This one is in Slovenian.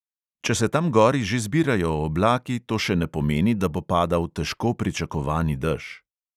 Če se tam gori že zbirajo oblaki, to še ne pomeni, da bo padal težko pričakovani dež.